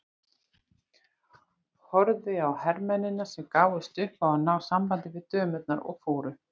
Horfði á hermennina sem gáfust upp á að ná sambandi við dömurnar og fóru.